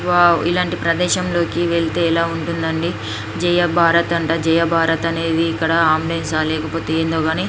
Wow ఇలాంటి ప్రదేశంలోనికి వెళ్తేనే ఇలా ఉంటుంది అండి. జయ భారత్ అంట జయ భారత్ అనే ఇక్కడ అంబులెన్సు ఆ ఏందో గాని --